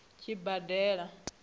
tshibadela